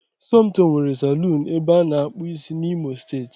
Somtoo nwere salọ̀ọ̀n ebe ana akpụ ịsị n'imo steeti